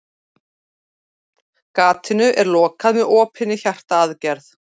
Gatinu er lokað með opinni hjartaaðgerð.